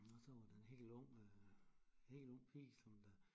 Og så var der en hel ung hel ung pige som der